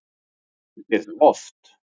Ég geri það oft